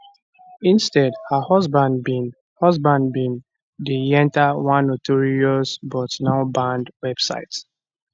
instead her husband bin husband bin de yenta one notorious but now banned website